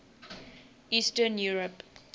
eastern europe